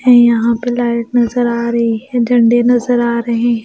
है यहां पे लाइट नजर आ रही है डंडे नजर आ रहे हैं।